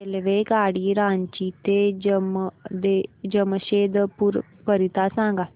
रेल्वेगाडी रांची ते जमशेदपूर करीता सांगा